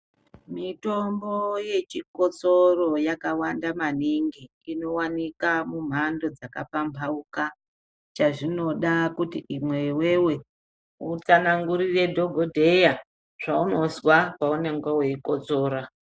Mitombo yechikotsoro yakawanda maningi inowanikwa munharaunda dzakasiyana chazvinoda kuti iwewe utsanangurire dhokodheya zvaunozwa paunenge weikotsora.